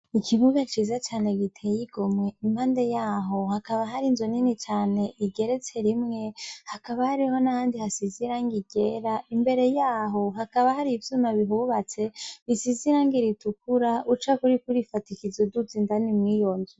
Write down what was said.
Ikibuga ciza cane giteye igomwe, impande ya ho hakaba hari inzu nini cane igeretse rimwe, hakaba hariho n'ahandi hasize irangi ryera, imbere ya ho hakaba hari ivyuma bihubatse, bisize irangi ritukura, ucako uriko urifadikiza uduga indani mw'iyo nzu.